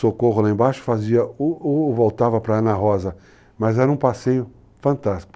Socorro lá embaixo fazia, ou ou voltava para Ana Rosa, mas era um passeio fantástico.